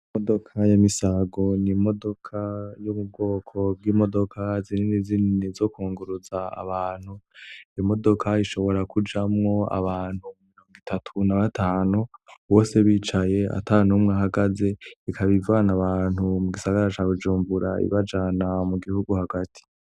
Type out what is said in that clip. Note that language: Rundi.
Imodoka ya Misago n'imodoka yo mu bwoko bwimodoka zinini zinini zo kunguruza abantu, iyo modoka ishobora kujamwo abantu mironga itatu na batanu bose bicaye atanumwe ahagaze ikaba ivana abantu mu gisagara ca Bujumbura ibajana mu gihugu hagati.